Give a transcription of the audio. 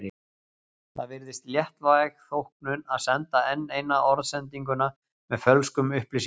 Það virðist léttvæg þóknun að senda enn eina orðsendinguna með fölskum upplýsingum.